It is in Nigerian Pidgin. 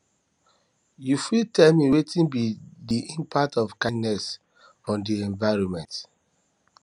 you fit tell me wetin be di impact of kindness on di environment